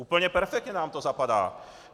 Úplně perfektně nám to zapadá.